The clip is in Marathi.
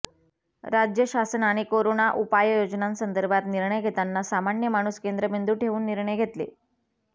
राज्य शासनाने कोरोना उपाययोजनांसदर्भात निर्णय घेताना सामान्य माणूस केंद्रबिंदू ठेऊन निर्णय घेतले